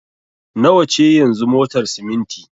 Nawa ce yanzu motar siminti?